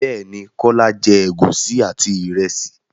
Bẹ́ẹ̀ ní, Kọ́lá jẹ́ ègúsí àti ìrẹsì.